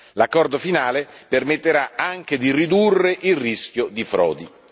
L'accordo finale permetterà anche di ridurre il rischio di frodi.